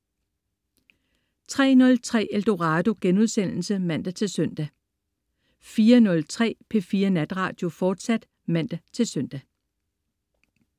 03.03 Eldorado* (man-søn) 04.03 P4 Natradio, fortsat (man-søn)